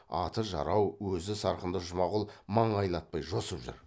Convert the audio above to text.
аты жарау өзі сырқынды жұмағұл маңайлатпай жосып жүр